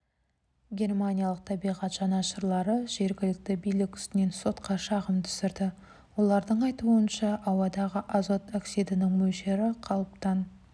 германиялық табиғат жанашырлары жергілікті билік үстінен сотқа шағым түсірді олардың айтуынша ауадағы азот оксидінің мөлшері қалыптан